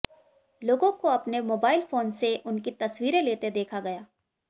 लोगों को अपने मोबाइल फोन से उनकी तस्वीरें लेते देखा गया